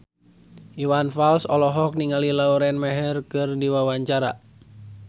Iwan Fals olohok ningali Lauren Maher keur diwawancara